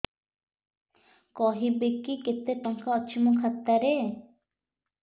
କହିବେକି କେତେ ଟଙ୍କା ଅଛି ମୋ ଖାତା ରେ